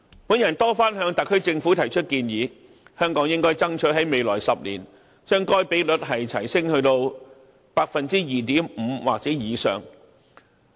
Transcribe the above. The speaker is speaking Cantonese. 我曾多番向特區政府提出建議，香港應該爭取在未來10年，將該比率提升至 2.5% 或以上。